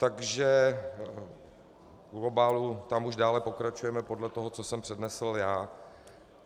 Takže v globálu tam už dále pokračujeme podle toho, co jsem přednesl já.